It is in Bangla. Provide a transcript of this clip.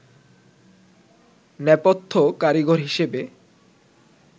নেপথ্য কারিগর হিসেবে